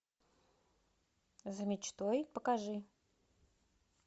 за мечтой покажи